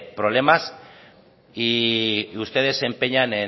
problemas y ustedes se empeñan